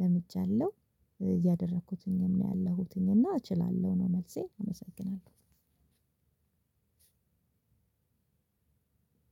ለምጃለሁ እያደረኩትኝም ነው ያለሁትኝና እችላለሁ ነው መልሴ አመሰግናለሁ።